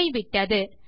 போய்விட்டது